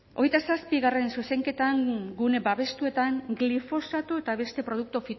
hogeita zazpigarrena zuzenketan gune babestuetan glifosato eta beste produktu